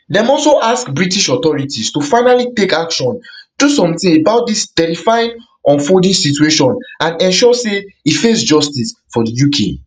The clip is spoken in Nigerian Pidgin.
dem also ask british authorities to finally take action do something about dis terrifying unfolding situation and ensure say e face justice for di uk